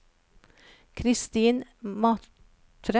Christin Matre